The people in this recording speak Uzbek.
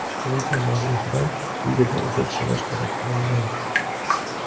Video muallifidan videoda uzr so‘rash talab qilingan.